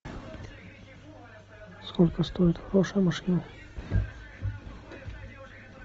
сколько стоит хорошая машина